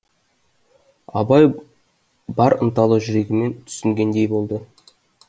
абай бар ынталы жүрегімен түсінгендей болды